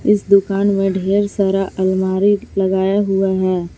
इस दुकान में ढेर सारा अलमारी लगाया हुआ है।